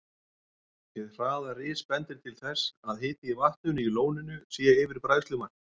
Hið hraða ris bendir til þess, að hiti í vatninu í lóninu sé yfir bræðslumarki.